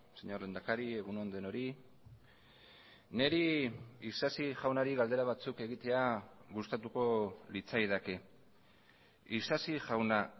señor lehendakari egun on denoi niri isasi jaunari galdera batzuk egitea gustatuko litzaidake isasi jauna